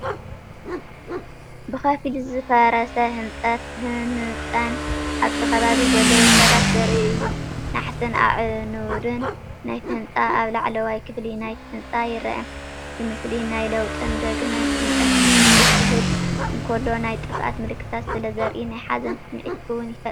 ብኸፊል ዝፈረሰ ህንጻን ኣብቲ ከባቢ ዘለዉ ሰባትን ዘርኢ እዩ። ናሕስን ኣዕኑድን ናይቲ ህንጻ ኣብ ላዕለዋይ ክፋል ናይቲ ህንጻ ይርአ። እቲ ምስሊ ናይ ለውጥን ዳግመ ህንጸትን ስምዒት ክህብ እንከሎ፡ ናይ ጥፍኣት ምልክታት ስለዘርኢ ናይ ሓዘን ስምዒት እውን ይፈጥር።